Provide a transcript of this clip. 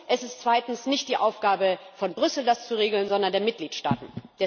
Und es ist zweitens nicht die Aufgabe von Brüssel, das zu regeln, sondern die der Mitgliedstaaten.